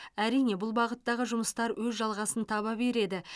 әрине бұл бағыттағы жұмыстар өз жалғасын таба береді